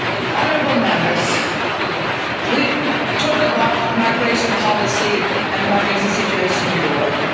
Honourable Members, we talk about migration policy and the migration situation in